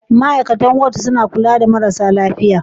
Ma'aikatan Ward suna kula da marasa lafiya.